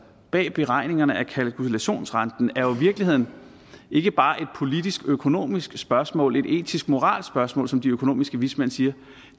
bag beregningerne af kalkulationsrenten er jo virkeligheden ikke bare et politisk økonomisk spørgsmål et etisk moralsk spørgsmål som de økonomiske vismænd siger